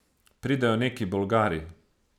Pridejo neki Bolgari.